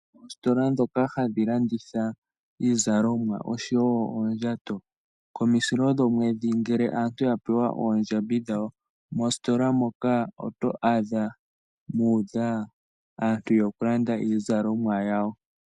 Oositola ndhoka hadhi landitha iizalomwa oshowo oondjato komusilo gomwedhi ngele aantu yapewa oondjambi dhawo moositola moka oto adha mu udha aantu yeya okulanda iizalomwa yawo.